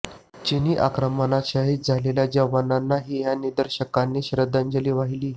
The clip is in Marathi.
चिनी आक्रमणात शहीद झालेल्या जवानांनाही या निदर्शकांनी श्रद्धांजली वाहिली